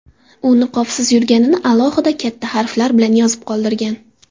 U niqobsiz yurganini alohida, katta harflar bilan yozib qoldirgan.